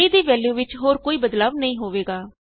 a ਦੀ value ਵਿਚ ਹੋਰ ਕੋਈ ਬਦਲਾਉ ਨਹੀਂ ਹੋਵੇਗਾ